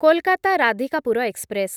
Kolkata Radhikapur express